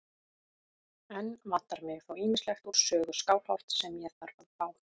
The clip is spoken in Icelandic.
Enn vantar mig þó ýmislegt úr sögu Skálholts sem ég þarf að fá.